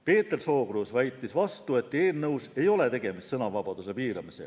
Peeter Sookruus väitis vastu, et eelnõus ei ole tegemist sõnavabaduse piiramisega.